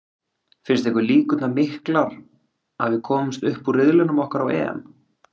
Finnst ykkur líkurnar miklar að við komumst upp úr riðlinum okkar á EM?